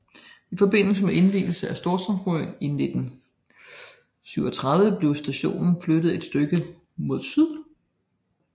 I forbindelse med indvielsen af Storstrømsbroen i 1937 blev stationen flyttet et stykke mod syd